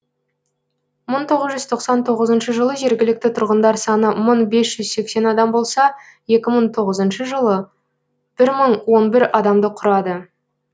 мың тоғыз жүз тоқсан тоғызыншы жылы жергілікті тұрғындар саны мың бес жүз сексен адам болса екі мың тоғызыншы жылы бір мың он бір адамды құрады